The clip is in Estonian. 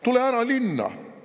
Tule ära linna!